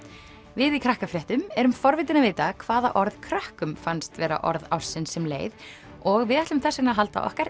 við í Krakkafréttum erum forvitin að vita hvaða orð krökkum fannst vera orð ársins sem leið og við ætlum þess vegna að halda okkar